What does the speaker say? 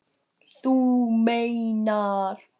Þú meinar.